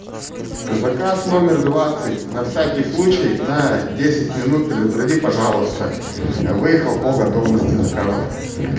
заказ номер двадцать на всякий случай на десять минут предупреди пожалуйста выехал по готовности заказов